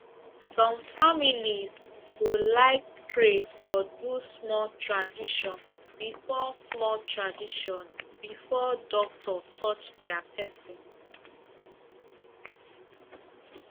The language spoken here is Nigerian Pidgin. some families go like pray or do small tradition before small tradition before doctor touch their person